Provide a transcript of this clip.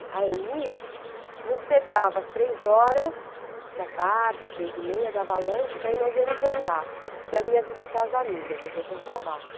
E a Eni nos pegava às três horas da tarde, três e meia, dava lanche, daí nós íamos andar, porque ela ia visitar as amigas, as outras babás.